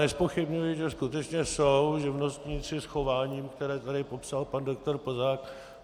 Nezpochybňuji, že skutečně jsou živnostníci s chováním, které tady popsal pan doktor Plzák.